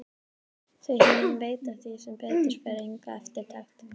Þau hin veita því sem betur fer enga eftirtekt.